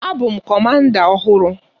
A bụ m Kọmanda ọhụrụ.